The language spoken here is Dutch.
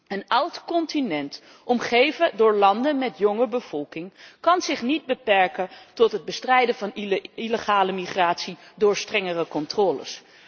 Een oud continent omgeven door landen met jonge bevolking kan zich niet beperken tot het bestrijden van illegale migratie door strengere controles.